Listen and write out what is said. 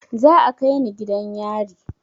Za a kai ni gidan yari